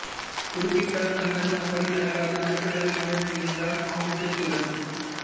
குறுக்கிட்டான் சந்தனு அப்படி நடக்காது நடக்க விடமாட்டேன் என்றான் ஆவேசத்துடன்